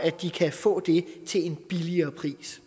kan få det til en billigere pris